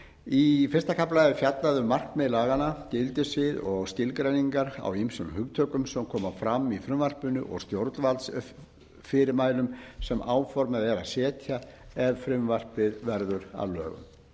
í fyrsta kafla er fjallað um markmið laganna gildissvið og skilgreiningar á ýmsum hugtökum sem koma fram í frumvarpinu og stjórnvaldsfyrirmælum sem áformað er að setja ef frumvarpið verður að lögum